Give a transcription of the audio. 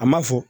A ma fɔ